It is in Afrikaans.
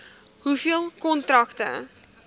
hoeveel kontrakte